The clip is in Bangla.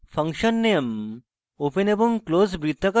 function _ name open এবং close বৃত্তাকার বন্ধনী